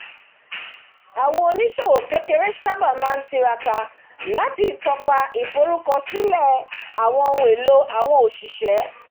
àwọn oní-ìṣòwò kékeré sábà máa ń tiraka láti tọ́pa ìforúkọsílẹ̀ àwọn ohun èlò àwọn oṣiṣẹ́